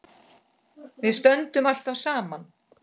Við stöndum alltaf saman